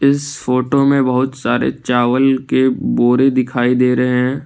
इस फोटो में बहुत सारे चावल के बोरे दिखाई दे रहे हैं।